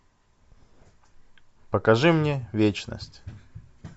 покажи мне вечность